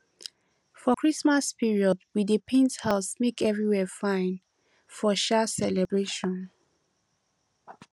for christmas period we dey paint house make everywhere fine for um celebration